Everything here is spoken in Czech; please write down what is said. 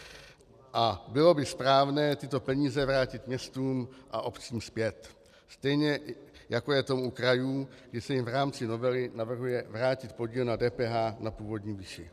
- a bylo by správné tyto peníze vrátit městům a obcím zpět, stejně jako je tomu u krajů, kdy se jim v rámci novely navrhuje vrátit podíl na DPH na původní výši.